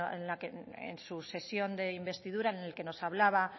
en su sesión de investidura